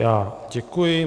Já děkuji.